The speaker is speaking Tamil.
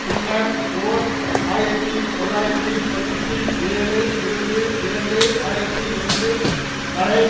பின்னர் ஓர் ஆயிரத்தி தொள்ளாயிரத்தி தொன்னூற்றி ஏழு இருந்து இரண்டு ஆயிரத்தி ஒன்று வரை